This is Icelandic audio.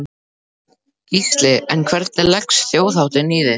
Gísli: En hvernig leggst Þjóðhátíðin í þig?